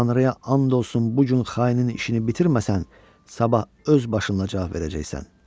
Tanrıya and olsun bu gün xainin işini bitirməsən, sabah öz başınla cavab verəcəksən.